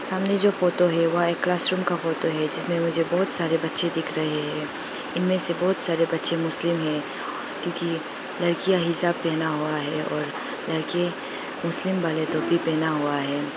सामने जो फोटो है वह एक क्लास रूम का फोटो है जिसमें मुझे बहोत सारे बच्चे दिख रहे हैं इनमें से बहोत सारे बच्चे मुस्लिम है क्योंकि लड़कियां हिजाब पहना हुआ है और लड़के मुस्लिम वाले टोपी पहना हुआ है।